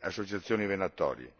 associazioni venatorie.